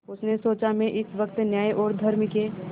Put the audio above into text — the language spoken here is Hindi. उसने सोचा मैं इस वक्त न्याय और धर्म के